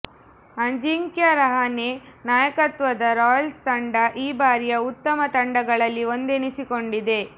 ಅಜಿಂಕ್ಯ ರಹಾನೆ ನಾಯಕತ್ವದ ರಾಯಲ್ಸ್ ತಂಡ ಈ ಬಾರಿಯ ಉತ್ತಮ ತಂಡಗಳಲ್ಲಿ ಒಂದೆನಿಸಿಕೊಂಡಿದೆ